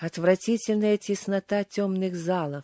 отвратительная теснота тёмных злом